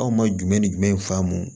Anw ma jumɛn ni jumɛn faamu